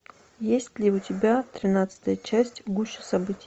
есть ли у тебя тринадцатая часть в гуще событий